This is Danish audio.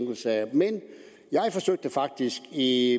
men jeg forsøgte faktisk i